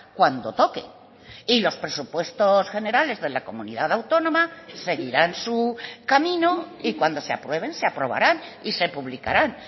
cuando toque y los presupuestos generales de la comunidad autónoma seguirán su camino y cuando se aprueben se aprobarán y se publicarán